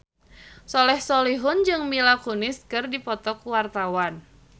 Soleh Solihun jeung Mila Kunis keur dipoto ku wartawan